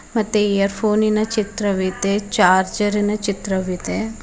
ಮತ್ತೆ ಇಯರ್ ಫೋನಿ ನ ಚಿತ್ರವಿದೆ ಚಾರ್ಜರ್ ರಿನ ಚಿತ್ರವಿದೆ.